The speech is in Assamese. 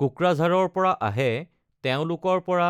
কোকৰাঝাৰৰ পৰা আহে তেওঁলোকৰ পৰা